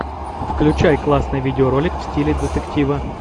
включай классный видеоролик в стиле детектива